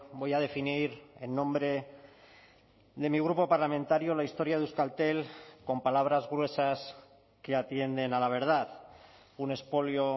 voy a definir en nombre de mi grupo parlamentario la historia de euskaltel con palabras gruesas que atienden a la verdad un expolio